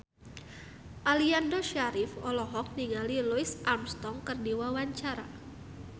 Aliando Syarif olohok ningali Louis Armstrong keur diwawancara